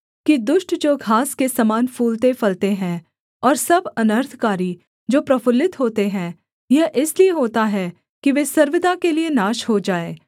कि दुष्ट जो घास के समान फूलतेफलते हैं और सब अनर्थकारी जो प्रफुल्लित होते हैं यह इसलिए होता है कि वे सर्वदा के लिये नाश हो जाएँ